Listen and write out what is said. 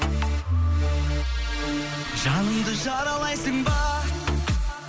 жанымды жаралайсың ба